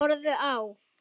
Þeir horfðu á.